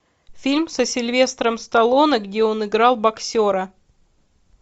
фильм со сильвестром сталлоне где он играл боксера